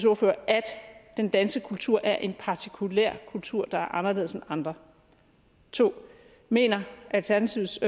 ordfører at den danske kultur er en partikulær kultur der er anderledes end andre 2 mener alternativets